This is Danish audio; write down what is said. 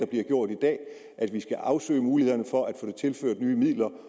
bliver gjort i dag at vi skal afsøge mulighederne for at få tilført nye midler